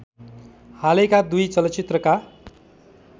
हालैका दुई चलचित्रका